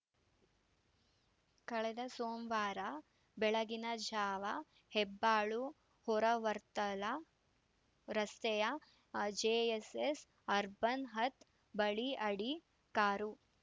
ಕಳೆದ ಸೋಮವಾರ ಬೆಳಗಿನ ಜಾವ ಹೆಬ್ಬಾಳು ಹೊರ ವರ್ತಲ ರಸ್ತೆಯ ಜೆಎಸ್‌ಎಸ್‌ ಅರ್ಬನ್‌ ಹಾತ್‌ ಬಳಿ ಆಡಿ ಕಾರು